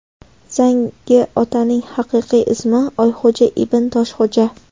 Zangi otaning haqiqiy ismi Oyxo‘ja Ibn Toshxo‘ja.